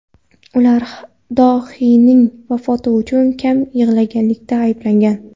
Ular dohiyning vafoti uchun kam yig‘laganlikda ayblangan.